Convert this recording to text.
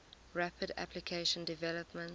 rapid application development